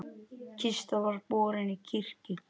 Kista var borin í kirkju.